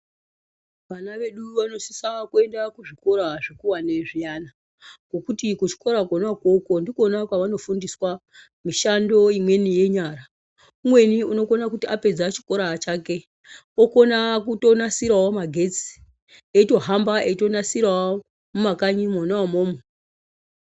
Vana vedu vanosise kuenda kuzvikora zvikurwane zviana, ngekuti kuzvikora kona ikoko ndiko kona kwavanofundiswa mishando imweni yenyara .Umweni unokona kuti apedza chikoraachake okona kutonasira magetsi eyitohamba etitonasirawo mumakanyimu mona imomo.